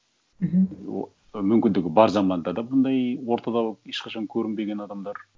мхм мүмкіндігі бар заманда да бұндай ортада ешқашан көрінбеген адамдар